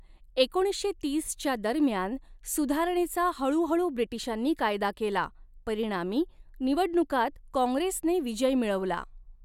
एकोणीसशे तीसच्या दरम्यान, सुधारणेचा हळूहळू ब्रिटिशांनी कायदा केला, परिणामी निवडणुकांत काँग्रेसने विजय मिळवला.